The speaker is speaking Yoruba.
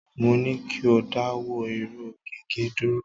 Mo ní kí o dáwọ́ irún gigẹ̀ dúró.